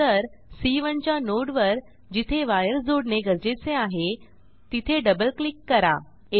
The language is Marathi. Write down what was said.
नंतर सी1 च्या नोड वर जिथे वायर जोडणे गरजेचे आहे तिथे डबल क्लिक करा